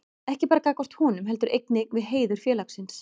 Ekki bara gagnvart honum, heldur einnig við heiður félagsins.